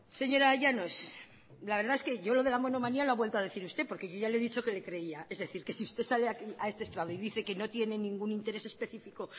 señora llanos la verdad es que yo lo de la monomanía lo ha vuelto a decir usted porque yo ya le he dicho que le creía es decir que si usted sale a este estrado y dice que no tiene ningún interés específico